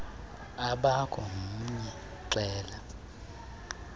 akakho mnye xela